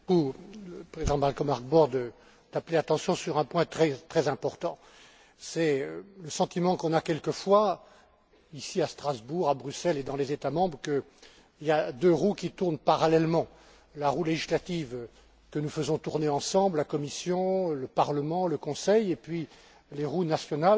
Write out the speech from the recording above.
Le président Malcolm Harbour vient d'attirer l'attention sur un point très important, c'est le sentiment qu'on a quelquefois, ici à Strasbourg, à Bruxelles et dans les États membres, qu'il y a deux roues qui tournent parallèlement la roue législative que nous faisons tourner ensemble la Commission, le Parlement, le Conseil et les roues nationales.